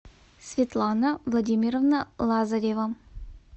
светлана владимировна лазарева